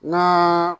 Na